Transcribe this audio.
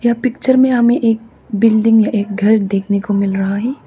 Picture में हमें एक बिल्डिंग या एक घर देखने को मिल रहा है।